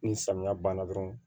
Ni samiya banna dɔrɔn